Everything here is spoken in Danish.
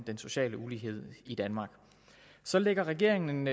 den sociale ulighed i danmark så lægger regeringen